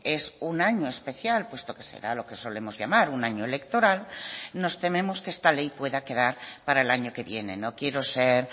es un año especial puesto que será lo que solemos llamar un año electoral nos tememos que esta ley pueda quedar para el año que viene no quiero ser